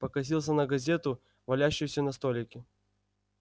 покосился на газету валяющуюся на столике